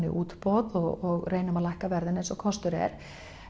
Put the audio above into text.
í útboð og reynum að lækka verðin eins og kostur er